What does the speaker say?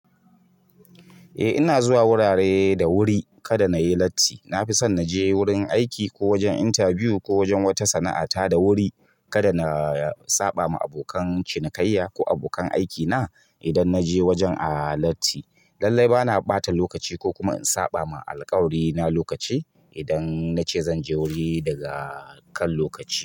Eh ina zuwa wurare da wuri, kada na yi latti. Na fi son na je wurin aiki ko wajen interview ko wajen wata sana'a ta da wuri kada na saɓa ma abokan cinikayya ko abokan aikina idan na je wajen a latti. Lallai bana ɓata lokaci ko kuma in saɓa ma alƙawari na lokaci, idan na ce zan je wuri daga kan lokaci.